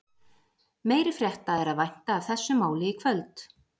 Meiri frétta er að vænta af þessu máli í kvöld.